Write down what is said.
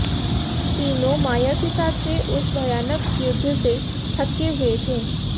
तीनों माया के साथ हुए उस भयानक युद्ध से थके हुए थे